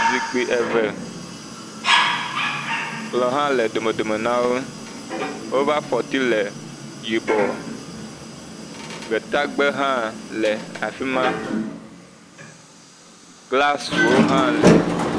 Zikpui eve, kplɔ̃ hã le dome dome na wo. Woƒe afɔti le yibɔ. Gbetagbe hã le afi ma. Glasiwo hã lɛ.